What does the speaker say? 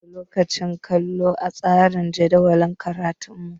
Muna da lokacin kallo a tsarin jadawalin karatunmu